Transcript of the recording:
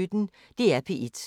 DR P1